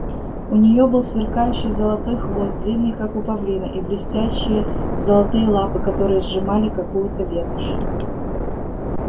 у неё был сверкающий золотой хвост длинный как у павлина и блестящие золотые лапы которые сжимали какую-то ветошь